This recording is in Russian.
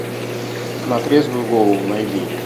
на трезвую голову найди